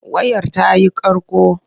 Wayar ta yi ƙarƙo.